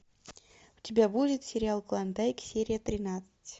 у тебя будет сериал клондайк серия тринадцать